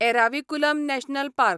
Eravikulam national park